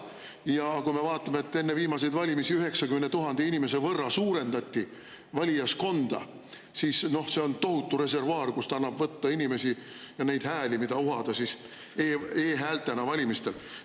Ja kui me vaatame, et enne viimaseid valimisi suurendati valijaskonda 90 000 inimese võrra, siis see on tohutu reservuaar, kust annab võtta inimesi ja neid hääli, mida uhada e-häältena valimistel.